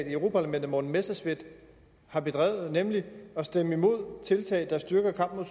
i europa parlamentet morten messerschmidt har bedrevet nemlig at stemme imod tiltag der styrker kampen